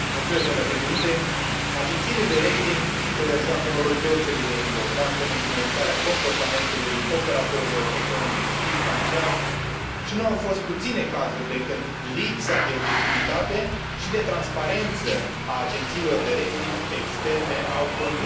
Agențiile de rating joacă un rol deosebit de important în influențarea comportamentului operatorilor economici și financiari și nu au fost puține cazurile când lipsa de obiectivitate și de transparență a agențiilor de rating externe a condus la căderi bruște